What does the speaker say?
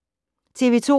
TV 2